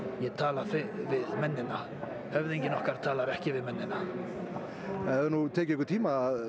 ég tala við mennina höfðinginn okkar talar ekki við mennina það hefur tekið tíma að